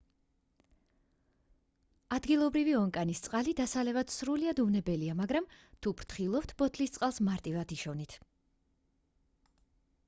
ადგილობრივი ონკანის წყალი დასალევად სრულიად უვნებელია მაგრამ თუ ფრთხილობთ ბოთლის წყალს მარტივად იშოვით